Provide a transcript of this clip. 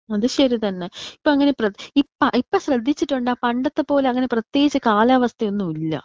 അത് ശരി തന്നെ. ഇപ്പോ അങ്ങനെ പ്രേ ഇപ്പ ഇപ്പൊ ശ്രേധിച്ചിട്ടുണ്ടോ പണ്ടത്തെ പോലെ അങ്ങനെ പ്രേത്യകിച് കാലാവസ്ഥയൊന്നും ഇല്ല.